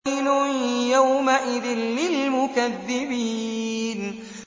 وَيْلٌ يَوْمَئِذٍ لِّلْمُكَذِّبِينَ